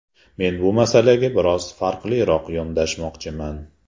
Men bu masalaga biroz farqliroq yondashmoqchiman.